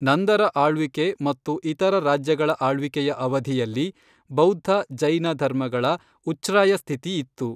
ನಂದರ ಆಳ್ವಿಕೆ ಮತ್ತು ಇತರ ರಾಜ್ಯಗಳ ಆಳ್ವಿಕೆಯ ಅವಧಿಯಲ್ಲಿ ಬೌದ್ಧ, ಜೈನ ಧರ್ಮಗಳ ಉಚ್ಛ್ರಾಯ ಸ್ಥಿತಿ ಇತ್ತು.